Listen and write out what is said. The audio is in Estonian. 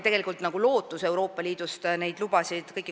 Tegelikult on lootust Euroopa Liidust riigiabi luba saada.